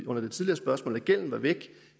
under det tidligere spørgsmål at gælden var væk